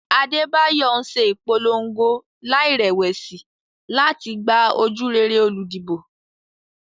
Adebayo ń ṣe ìpolongo láìrẹ̀wẹ̀sì láti gba ojúrere olùdìbò.